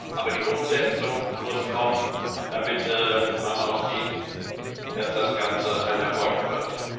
Aber die Umsetzung muss kommen, damit man auch sieht, dass das Ganze ein Erfolg wird.